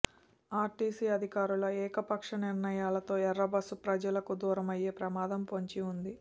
RTC అధికారుల ఏకపక్ష నిర్ణయాలతో ఎర్రబస్సు ప్రజలకు దూరమయ్యే ప్రమాదం పొంచి ఉంది